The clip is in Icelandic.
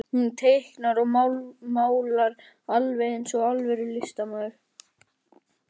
Hún teiknar og málar alveg eins og alvöru listamaður.